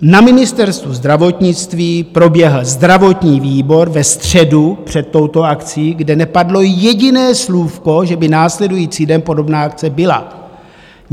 Na Ministerstvu zdravotnictví proběhl zdravotní výbor ve středu před touto akcí, kde nepadlo jediné slůvko, že by následující den podobná akce byla.